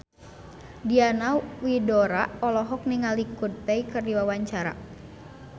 Diana Widoera olohok ningali Coldplay keur diwawancara